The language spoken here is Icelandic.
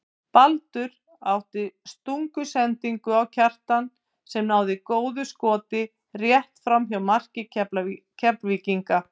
Baldur átti stungusendingu á Kjartan sem náði góðu skoti rétt framhjá marki Keflvíkinga.